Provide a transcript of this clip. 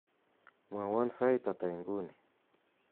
mwowon sait ata inguni